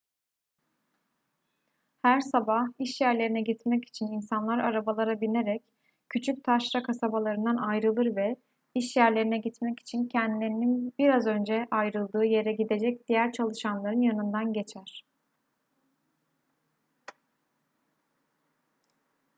her sabah iş yerlerine gitmek için insanlar arabalara binerek küçük taşra kasabalarından ayrılır ve iş yerlerine gitmek için kendilerinin biraz önce ayrıldığı yere gidecek diğer çalışanların yanından geçer